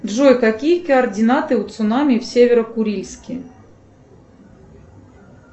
джой какие координаты у цунами в северо курильске